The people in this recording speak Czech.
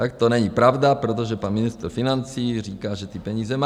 Tak to není pravda, protože pan ministr financí říká, že ty peníze má.